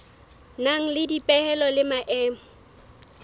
nang le dipehelo le maemo